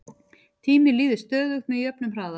tíminn líður stöðugt með jöfnum hraða